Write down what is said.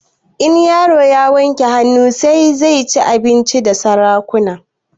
In yaro ya wanke hanun sa zai ci abinci da sarakuna